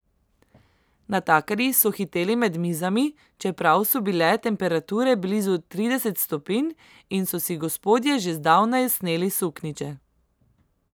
Natakarji so hiteli med mizami, čeprav so bile temperature blizu trideset stopinj in so si gospodje že zdavnaj sneli suknjiče.